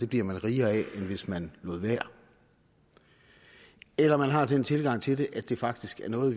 bliver rigere af end hvis man lod være eller om man har den tilgang til det at det faktisk er noget